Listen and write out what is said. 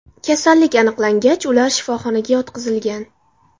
Kasallik aniqlangach, ular shifoxonaga yotqizilgan.